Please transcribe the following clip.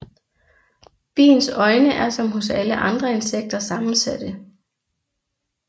Biens øjne er som hos alle andre insekter sammensatte